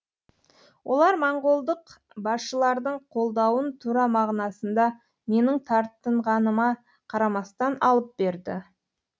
олар монғолдық басшылардың қолдауын тура мағынасында менің тартынғаныма қарамастан алып берді